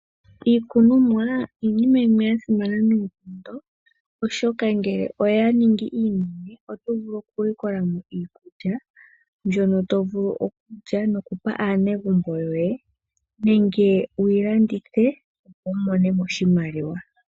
Iikunomwa iinima yimwe ya simana noonkondo, oshoka ngele oya iningi iinene oto vulu okulikola mo iikulya mbyono to vulu okulya nokupa aanegumbo yoye nenge wu yi landithe, opo wu mone mo oshimaliwa.